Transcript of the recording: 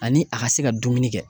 Ani a ka se ka dumuni kɛ.